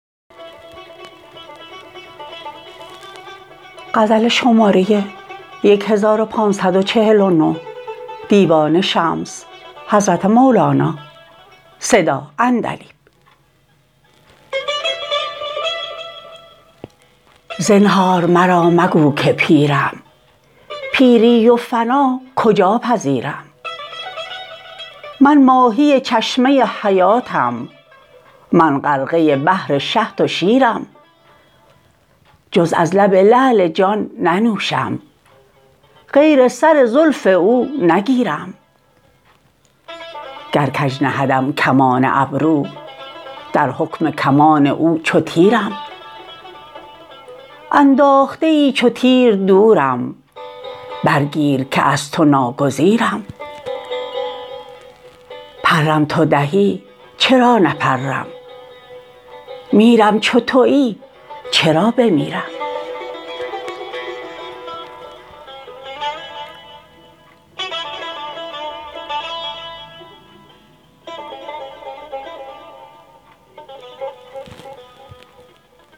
زنهار مرا مگو که پیرم پیری و فنا کجا پذیرم من ماهی چشمه حیاتم من غرقه بحر شهد و شیرم جز از لب لعل جان ننوشم غیر سر زلف او نگیرم گر کژ نهدم کمان ابرو در حکم کمان او چو تیرم انداخته ای چو تیر دورم برگیر که از تو ناگزیرم پرم تو دهی چرا نپرم میرم چو توی چرا بمیرم